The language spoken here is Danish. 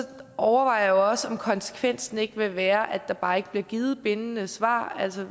overvejer jeg jo også om konsekvensen ikke vil være at der bare ikke bliver givet bindende svar altså